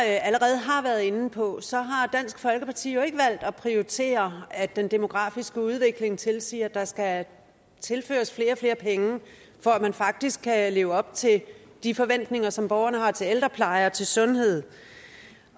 allerede har været inde på har dansk folkeparti jo ikke valgt at prioritere at den demografiske udvikling tilsiger at der skal tilføres flere og flere penge for at man faktisk kan leve op til de forventninger som borgerne har til ældrepleje og til sundhed